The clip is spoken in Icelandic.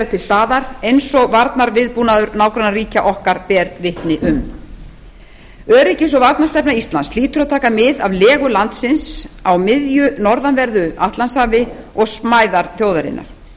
til staðar eins og varnarviðbúnaður nágrannaríkja okkar ber vitni um öryggis varnarstefna íslands hlýtur að taka mið af legu landsins á miðju norðanverðu atlantshafi og smæðar þjóðarinnar